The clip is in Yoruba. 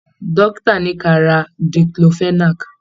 Dókítà ní kí a ra diclofenac.